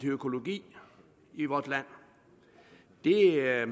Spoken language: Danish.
økologi i vort land det er jeg